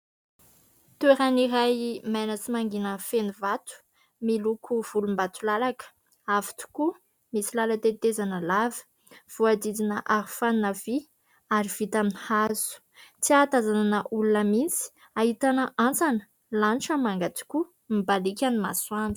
Toeran'iray maina sy mangina feno vato miloko volom-batolalaka, avo tokoa ! Misy lala-tetezana lava voadidina arofanina vy ary vita amin'ny hazo, tsy ahatazanana olona mihitsy ; ahitana antsana, lanitra manga tokoa, mibalika ny masoandro.